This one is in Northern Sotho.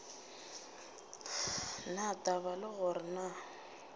na taba le gore na